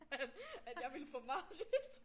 At at jeg ville få mareridt